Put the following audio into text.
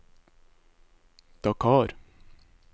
Dakar